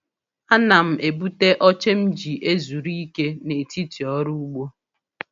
Ana m ebute oche m ji ezuru ike n’etiti ọrụ ugbo.